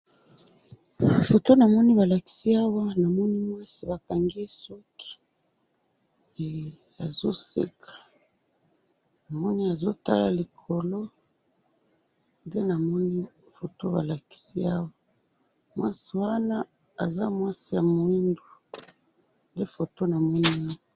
Foto namoni balakisi ngayi awa, namoni mwasi bakangi ye suki, eh! Azo seka, namoni azo tala likolo, nde namoni, foto balakisi awa, mwasi wana aza mwasi ya mwindu, nde foto namoni awa